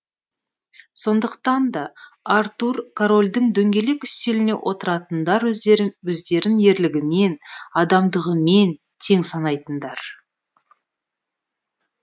сондықтан да артур корольдің дөңгелек үстеліне отыратындар өздерін ерлігімен адамдығымен тең санайтындар